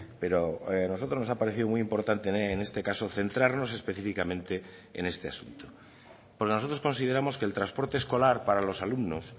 pero nosotros nos ha parecido muy importante en este caso centrarnos específicamente en este asunto porque nosotros consideramos que el transporte escolar para los alumnos